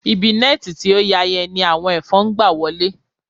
Ibi nẹ́ẹ̀ti tí ó ya yẹn ni àwọn ẹ̀fọn ń gba wọlé